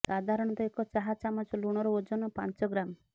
ସାଧାରଣତଃ ଏକ ଚାହା ଚାମଚ ଲୁଣର ଓଜନ ପାଞ୍ଚ ଗ୍ରାମ୍